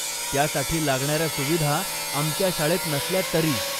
त्यासाठी लागणाऱ्या सुविधा आमच्या शाळेत नसल्या तरी.